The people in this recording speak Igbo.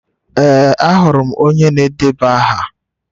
Ee, ahụrụ m onye na-edeba aha.